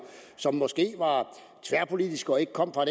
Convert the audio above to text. som måske var tværpolitiske og ikke kom fra